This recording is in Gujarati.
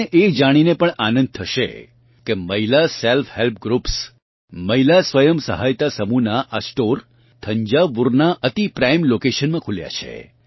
તમને એ જાણીને પણ આનંદ થશે કે મહિલા સેલ્ફહેલ્પ ગ્રૃપ્સ મહિલા સ્વયં સહાયતા સમૂહનાં આ સ્ટોર થંજાવુરનાં અતિ પ્રાઇમ લોકેશનમાં ખુલ્યાં છે